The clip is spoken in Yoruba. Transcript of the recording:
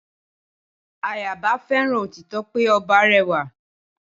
Ayaba fẹ́ràn òtítọ́ pé ọba rẹwà